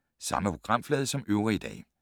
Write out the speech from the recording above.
Samme programflade som øvrige dage